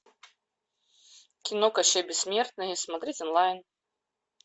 кино кащей бессмертный смотреть онлайн